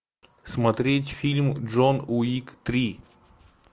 смотреть фильм джон уик три